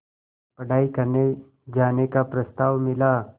पढ़ाई करने जाने का प्रस्ताव मिला